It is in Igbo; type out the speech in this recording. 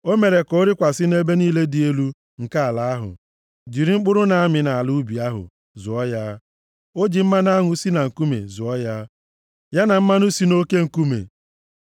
O mere ka ọ rịkwasị nʼebe niile dị elu nke ala ahụ, jiri mkpụrụ na-amị nʼala ubi ahụ zụọ ya. O ji mmanụ aṅụ si na nkume zụọ ya, ya na mmanụ si nʼoke nkume,